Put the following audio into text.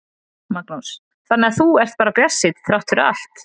Magnús: Þannig að þú ert bara bjartsýnn þrátt fyrir allt?